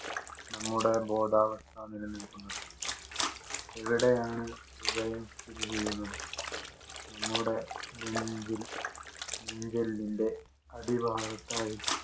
നമ്മുടെ ബോധാവസ്ഥ നിലനില്‍ക്കുന്നത്. എവിടെയാണ് ഹൃദയം സ്ഥിതി ചെയ്യുന്നത്? നമ്മുടെ നെഞ്ചിൽ അടിഭാഗത്തായി